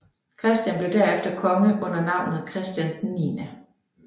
Christian blev derefter konge under navnet Christian 9